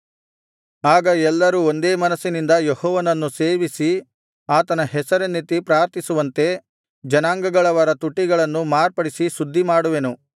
ಆಗ ಎಲ್ಲರೂ ಒಂದೇ ಮನಸ್ಸಿನಿಂದ ಯೆಹೋವನನ್ನು ಸೇವಿಸಿ ಆತನ ಹೆಸರನ್ನೆತ್ತಿ ಪ್ರಾರ್ಥಿಸುವಂತೆ ಜನಾಂಗಗಳವರ ತುಟಿಗಳನ್ನು ಮಾರ್ಪಡಿಸಿ ಶುದ್ಧಿಮಾಡುವೆನು